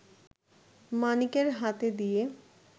মানিকের হাতে দিয়ে